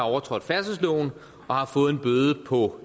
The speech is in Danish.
overtrådt færdselsloven og har fået en bøde på